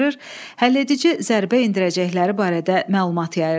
həlledici zərbə endirəcəkləri barədə məlumat yayırdı.